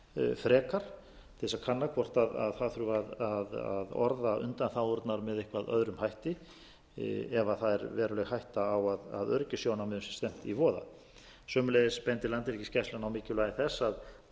frekar til þess að kanna hvort það þurfi að orða undanþágurnar með eitthvað öðrum hætti ef það er veruleg hætta á að öryggissjónarmiðum sé stefnt í voða sömuleiðis bendir landhelgisgæslan á mikilvægi þess að lög af þessum toga fari